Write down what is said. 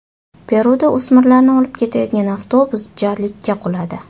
Peruda o‘smirlarni olib ketayotgan avtobus jarlikka quladi.